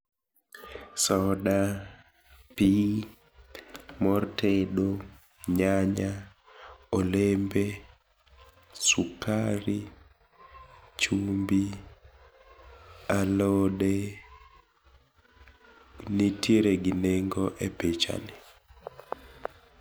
Soda , pii, moo tedo, nyanya, olembe, sukari, chumbi, alode nitiere gi nengo e picha ni.